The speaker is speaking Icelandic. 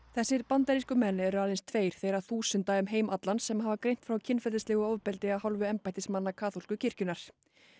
þessir bandarísku menn eru aðeins tveir þeirra þúsunda um heim allan sem greint hafa frá kynferðislegu ofbeldi af hálfu embættismanna kaþólsku kirkjunnar